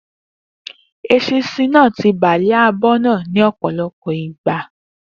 Eṣinṣin ti bà lé abọ́ náà ní òpòlopò ìgbà